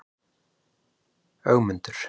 Ögmundur